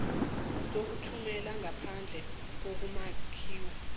sokuthumela ngaphandle ngokumakethwa